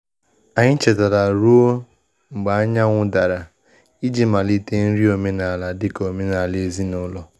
Anyị chetara ruo mgbe anyanwụ dara iji malite nri omenala dịka omenala ezinụlọ.